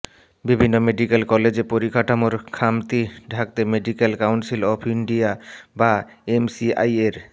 বিভিন্ন মেডিক্যাল কলেজে পরিকাঠামোর খামতি ঢাকতে মেডিক্যাল কাউন্সিল অব ইন্ডিয়া বা এমসিআইয়ের